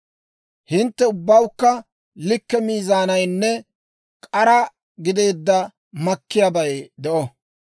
«‹ «Hintte ubbawukka likke miizaanaynne k'araa gideedda makkiyaabay de'o.